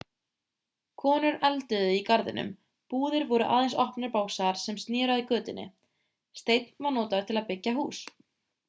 konur elduðu í garðinum búðir voru aðeins opnir básar sem sneru að götunni steinn var notaður til að byggja hús